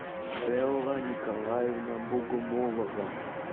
белла николаевна богомолова